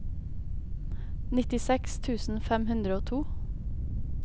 nittiseks tusen fem hundre og to